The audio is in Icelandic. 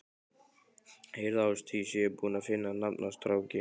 Heyrðu Ásdís, ég er búinn að finna nafn á strákinn.